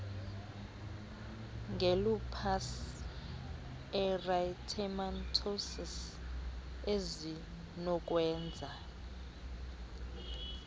ngelupus erythematosus ezinokwenza